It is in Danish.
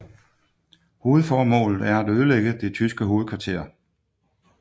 Hovedmålet er at ødelægge det tyske hovedkvarter